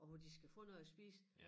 Og hvor de skal få noget at spise